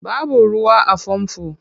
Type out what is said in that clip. Babu ruwa a famfo.